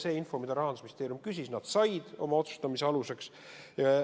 Selle info, mida Rahandusministeerium küsis, nad said otsustamisel aluseks võtta.